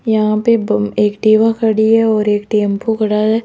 यहां पे अं एक्टिव खड़ी है और एक टेंपू खड़ा है।